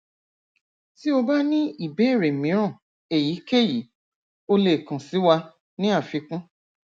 ti o ba ni ibeere miiran eyikeyi o le kan si wa ni afikun